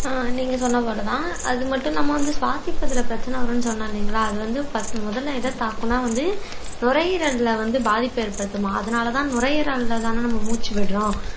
ஆஹ் நீங்க சொன்ன மாதிரிதான் அது மட்டும் இல்லாம நம்ம வந்து சுவாசிப்பதிலே பிரச்சனை வரும்ன்னு சொன்னேன் இல்லைங்களா அது வந்து first முதல்ல எத தாக்கும்ன்னா வந்து நுரையீரல்ல வந்து பாதிப்பை ஏற்படுத்துமாம் அதனாலதான் நுரையீரல்லதானே நம்ம மூச்சு விடுறோம்